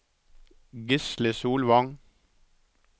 Gisle Solvang